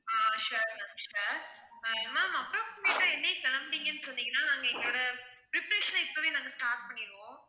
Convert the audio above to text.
ஆஹ் sure ma'am sure ah ma'am approximate ஆ என்னைக்கு கெளம்புறீங்கன்னு சொன்னீங்கன்னா நாங்க எங்களோட preparation அ இப்பவே நாங்க start பண்ணிடுவோம்